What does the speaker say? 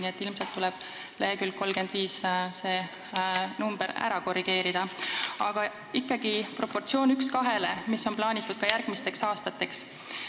Nii et ilmselt tuleb leheküljel 35 see ära korrigeerida, aga ikkagi on proportsioon 1 : 2 plaanitud ka järgmisteks aastateks.